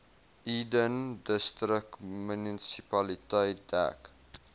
eden distriksmunisipaliteit dek